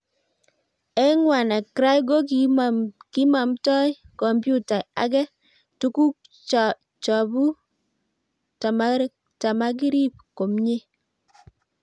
eng wannacry ko kimomtoi komputai ake toguk chapuuk tamakirib komyei